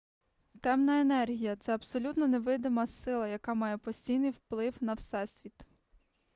темна енергія це абсолютно невидима сила яка має постійний вплив на всесвіт